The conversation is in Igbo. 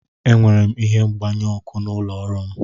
Enwere m ihe mgbanyụ ọkụ n'ụlọ ọrụ m.